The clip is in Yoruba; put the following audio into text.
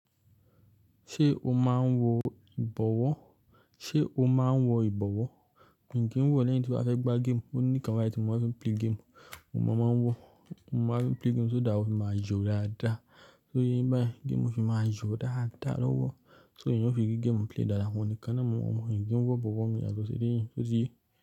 Ṣé o máa ń wo ìbọ̀wọ́? Ṣé o máa ń wo ìbọ̀wọ́? N kin wò lẹ́yìn tí mobá fẹ́ gbá game, o ní kan bayi tí mo ma fín play game, oun ni mo máa ń wọ̀. Mo bá fín play game so that ofi máa yó dáadáa. Só yé bá yẹn game fi máa jó dáadáa ló wọ̀. So yẹn ó fi rí game play dáadáa, òun nìkan náà mo mọ̀. Ǹjẹ́ òún wọ ìbọ̀wọ́ mi ní àsọ̀ ìdíyìn sótiyé.